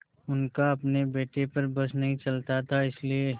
उनका अपने बेटे पर बस नहीं चलता था इसीलिए